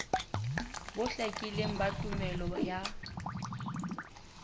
bo hlakileng ba tumello ya